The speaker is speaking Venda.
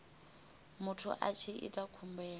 muthu a tshi ita khumbelo